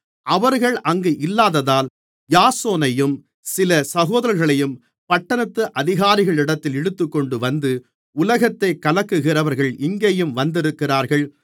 அவர்கள் அங்கு இல்லாததால் யாசோனையும் சில சகோதரர்களையும் பட்டணத்து அதிகாரிகளிடத்தில் இழுத்துக்கொண்டுவந்து உலகத்தைக் கலக்குகிறவர்கள் இங்கேயும் வந்திருக்கிறார்கள்